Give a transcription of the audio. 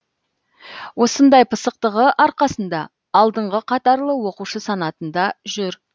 осындай пысықтығы арқасында алдыңғы қатарлы оқушы санатында жүр